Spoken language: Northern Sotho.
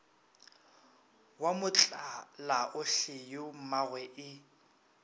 wa motlalaohle yo mmagwe e